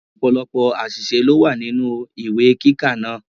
Ọ̀pọ̀lọ́pọ̀ àṣìṣe ló wà nínú ìwé kíkà náà.